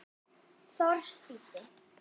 Thors þýddi.